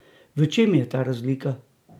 V čem je ta razlika?